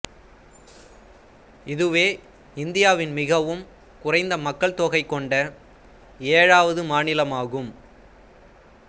இதுவே இந்தியாவின் மிகவும் குறைந்த மக்கள் தொகை கொண்ட ஏழாவது மாநிலமாகும்